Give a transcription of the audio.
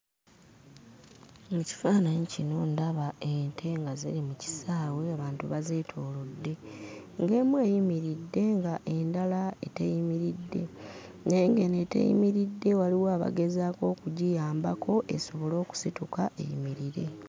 Mu kifaananyi kino ndaba ente nga ziri mu kisaawe abantu bazeetoolodde. Ng'emu eyimiridde, ng'endala teyimiridde, naye ng'eno eteyimiridde waliwo abagezaako okugiyambako esobole okusituka eyimirire.